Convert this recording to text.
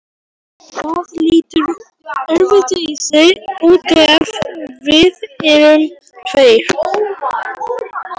Það lítur öðruvísi út ef við erum tvær.